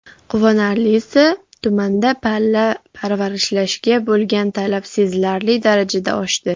Quvonarlisi, tumanda pilla parvarishlashga bo‘lgan talab sezilarli darajada oshdi.